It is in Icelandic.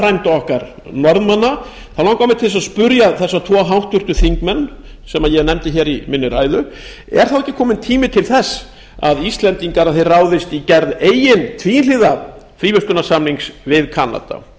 frænda okkar norðmanna þá langar mig til að spyrja þessa tvo háttvirtir þingmenn sem ég nefndi í ræðu minni er þá ekki kominn tími til þess að íslendingar ráðist í gerð eigin tvíhliða fríverslunarsamnings við kanada